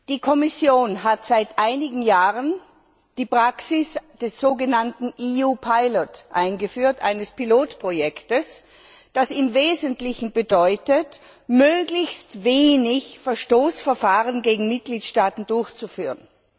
Die Kommission hat vor einigen Jahren die Praxis des sogenannten EU Pilot eingeführt, eines Pilotprojektes, das im Wesentlichen zum Ziel hat, möglichst wenige Verstoßverfahren gegen Mitgliedstaaten durchzuführen.